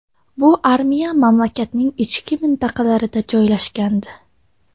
Bu armiya mamlakatning ichki mintaqalarida joylashgandi.